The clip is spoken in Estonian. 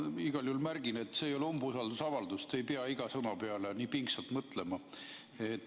Ma igal juhul märgin, et see ei ole umbusaldusavaldus, te ei pea iga sõna peale nii pingsalt mõtlema.